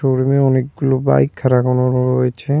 Show রুমে অনেকগুলো bike খাড়া করানো রয়েছে।